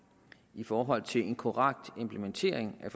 i forhold til en korrekt implementering af